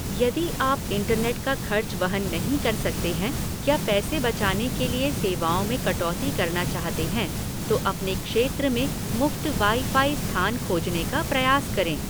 यदि आप इंटरनेट का खर्च वहन नहीं कर सकते हैं या पैसे बचाने के लिए सेवाओं में कटौती करना चाहते हैं तो अपने क्षेत्र में मुफ्त वाई फ़ाई स्थान खोजने का प्रयास करें।